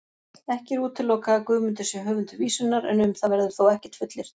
Ekki er útilokað að Guðmundur sé höfundur vísunnar, en um það verður þó ekkert fullyrt.